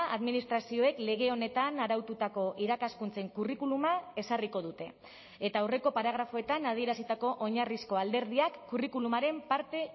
administrazioek lege honetan araututako irakaskuntzen curriculuma ezarriko dute eta aurreko paragrafoetan adierazitako oinarrizko alderdiak curriculumaren parte